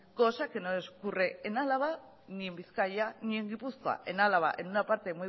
cosa que no ocurre ni en álava ni en bizkaia ni en gipuzkoa en álava en una parte